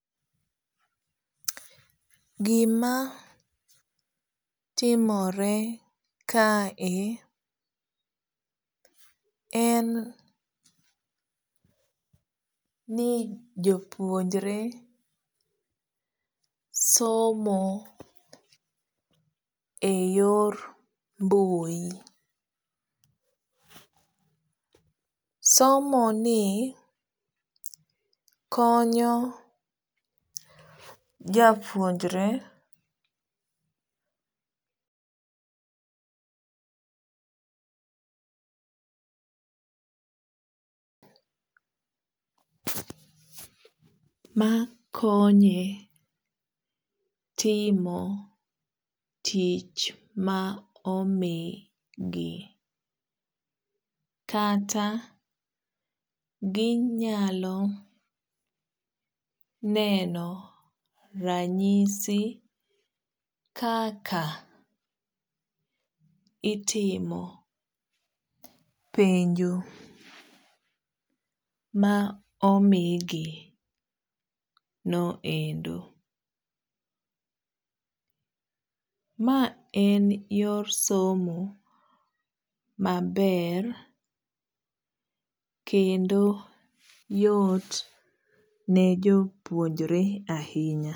Gimatimore kae en ni jopuonjre somo e yor mbui somo ni konyo japuonjre makonye timo tich ma omigi kata ginyalo neno ranyisi kaka itimo penjo maomigi noendo. maen yor somo maber kendo yot ne jopuonjre ahinya